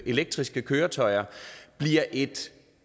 elektriske køretøjer bliver et